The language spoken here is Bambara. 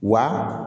Wa